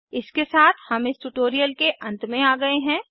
इसके साथ हम इस ट्यूटोरियल के अंत में आ गए हैं